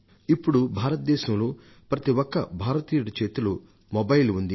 ఇప్పుడు భారతదేశంలో ప్రతి ఒక్క భారతీయుడి చేతిలో మొబైల్ ఉంది